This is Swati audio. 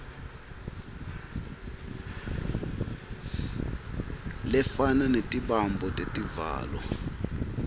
lefana netibambo tetivalo